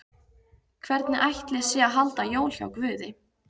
Hvernig ætli sé að halda jól hjá Guði?